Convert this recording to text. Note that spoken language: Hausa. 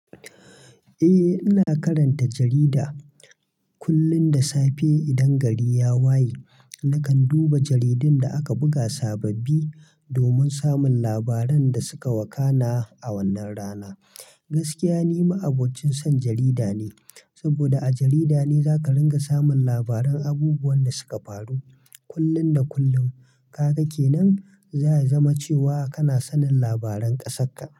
Eh, ina karanta jarida kullum da safe idan gari ya waye. Nakan duba jaridun da aka buga sababbi domin samun labaran da suka wakana a wannan rana. Gaskiya, ni ma'abocin son jarida ne, saboda a jarida ne za ka ringa samun labaran abubuwan da suka faru kullum da kullum kag ke nan zaya zama cewa kana sanin labaran kasakka.